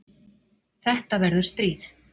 Þetta verður stríð.